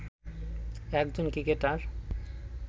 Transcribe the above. একজন ক্রিকেটার